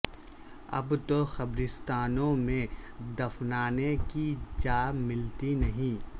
اب تو قبرستانوں میں دفنانے کی جا ملتی نہیں